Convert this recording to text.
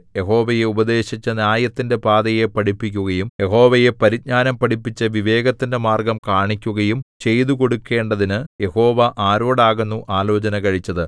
യഹോവയെ ഉപദേശിച്ചു ന്യായത്തിന്റെ പാതയെ പഠിപ്പിക്കുകയും യഹോവയെ പരിജ്ഞാനം പഠിപ്പിച്ചു വിവേകത്തിന്റെ മാർഗ്ഗം കാണിക്കുകയും ചെയ്തുകൊടുക്കേണ്ടതിനു യഹോവ ആരോടാകുന്നു ആലോചന കഴിച്ചതു